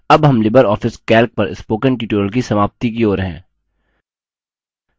अब हम LibreOffice calc पर spoken tutorial की समाप्ति की ओर हैं